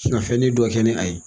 Sin ka fɛnnin dɔ kɛ ni a ye